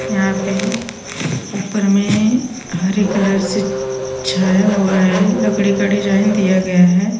यहाँ पे ऊपर मे हरे कलर से छाया हुआ है। लकडे का डिजाइन दिया गया है।